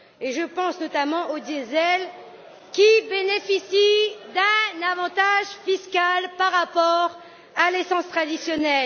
Je pense notamment au diesel, qui bénéficie d'un avantage fiscal par rapport à l'essence traditionnelle.